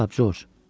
Nə cavab, Corc?